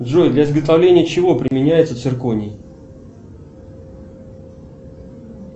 джой для изготовления чего применяется цирконий